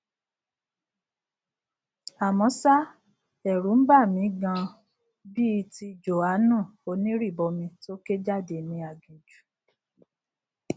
àmọ ṣá ẹrù ń bà mí ganan bíi ti jòhánù onírìbọmi tó ké jáde ní aginjù